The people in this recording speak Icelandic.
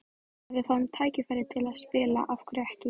Ef við fáum tækifærið til að spila, af hverju ekki?